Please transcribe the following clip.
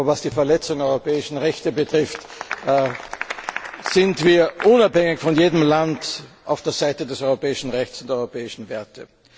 Aber was die Verletzung europäischer Rechte betrifft, sind wir unabhängig von jedem Land auf der Seite des europäischen Rechts und der europäischen Werte.